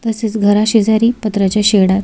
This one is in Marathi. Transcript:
तसेच घरा शेजारी पत्र्याच्या शेडात --